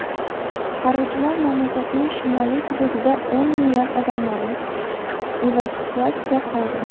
Qutqaruvchilar mamlakatning shimoliy hududida o‘n minglab odamlarni evakuatsiya qildi.